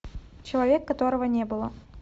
человек которого не было